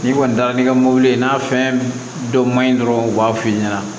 N'i kɔni taara n'i ka mobili ye n'a fɛn dɔ ma ɲi dɔrɔn u b'a f'i ɲɛna